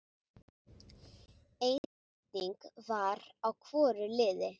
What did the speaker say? Ein breyting var á hvoru liði.